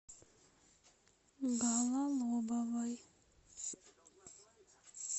гололобовой